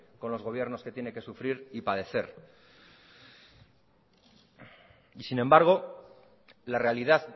con los gobiernos que tiene sufrir y padecer sin embargo la realidad